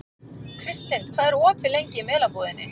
Kristlind, hvað er opið lengi í Melabúðinni?